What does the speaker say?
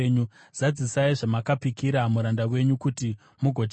Zadzisai zvamakapikira muranda wenyu, kuti mugotyiwa.